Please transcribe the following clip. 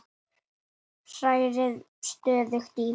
Hrærið stöðugt í.